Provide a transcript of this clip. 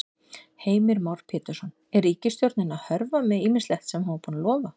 Heimir Már Pétursson: Er ríkisstjórnin að hörfa með ýmislegt sem hún var búin að lofa?